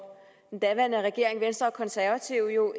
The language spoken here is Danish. den daværende regering venstre og konservative jo